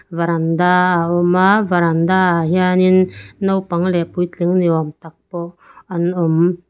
varanda a awm a varanda ah hianin naupang leh puitling ni awm tak pawh an awm.